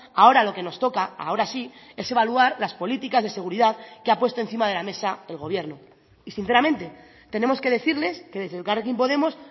ahora lo que nos toca ahora sí es evaluar las políticas de seguridad que ha puesto encima de la mesa el gobierno y sinceramente tenemos que decirles que desde elkarrekin podemos